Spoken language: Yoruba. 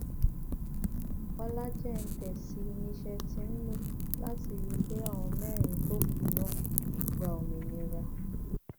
ọlájẹǹtẹsí ni iṣẹ tí ń lò láti rí i pé àwọn mẹrin tó kù náà gba òmìnira